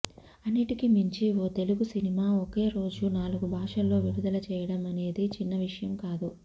అన్నింటికీ మించి ఓ తెలుగు సినిమా ఒకేరోజు నాలుగు భాషల్లో విడుదల చేయడం అనేది చిన్న విషయం కాదు